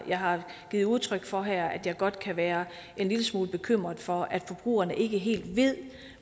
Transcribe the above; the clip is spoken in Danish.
givet udtryk for her er at jeg godt kan være en lille smule bekymret for at forbrugerne ikke helt ved